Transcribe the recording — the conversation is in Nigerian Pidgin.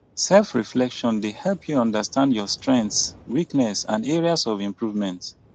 selfreflection dey help you understand your strengths weakness and areas for improvement